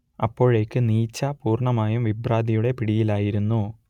അപ്പോഴേക്ക് നീച്ച പൂർണ്ണമായും വിഭ്രാന്തിയുടെ പിടിയിലായിരുന്നു